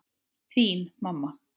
Þín mamma.